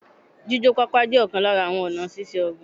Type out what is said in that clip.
Jíjó pápá jẹ́ ọ̀kan lára àwọn ọ̀nà síse ọ̀gbìn